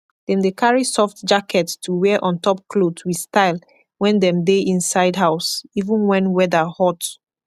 dem dey karry soft jacket to wear ontop kloth wit style wen dem dey inside house even wen weather hot